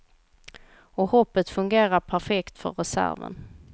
Och hoppet fungerade perfekt för reserven.